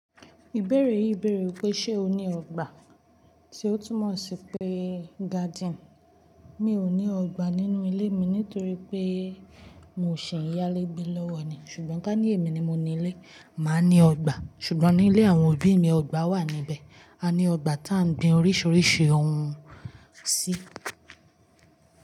Ìbéèrè yìí béèrè wípé ṣe o ní ọgbà tí ó tún mọ̀ sí pé garden. Mi ò ní ọgbà nínú ilé mi nítorí pé mò ṣi n yálé gbé lọ́wọ́ ni. Ṣùgbọ́n ká ní èmi ni mo ní ilé, máa ní ọgbà. Ṣùgbọ́n ní ilé àwọn òbí mi ọgbà wà níbẹ̀. A ní ọgbà tiá ń gbin oríṣiríṣi ohun sí.